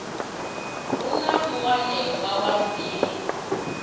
hu na muanewa wa viḽeini